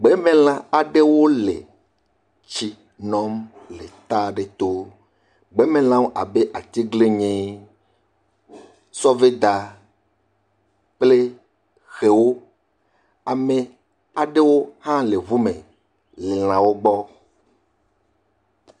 Gbemelã aɖewo le tsi nom le tɔ aɖe to. Gbemelã abe atiglinyi, sɔveda kple xewo, ame aɖewo hã le ŋu me le lãwo gbɔ.